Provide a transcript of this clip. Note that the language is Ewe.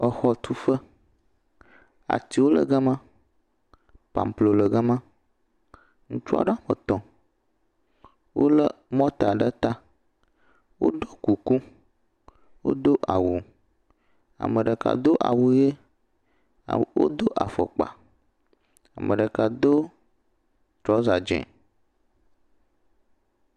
Exɔtuƒe. artiwo le ga ma. Pamplo le ga ma. Ŋutsu aɖe etɔ̃ wole mɔta ɖe ta. Woɖɔ kuku, wodo awu. Ame ɖeka do awu ʋi. Wodo afɔkpa. Ame ɖeka do trɔsa dze.